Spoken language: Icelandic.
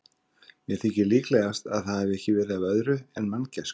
Mér þykir líklegast, að það hafi ekki verið af öðru en manngæsku.